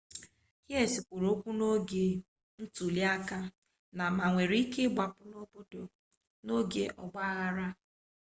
hsieh kwuru okwu n'oge ntuliaka na ma nwere ike ịgbapụ n'obodo n'oge ọgba aghara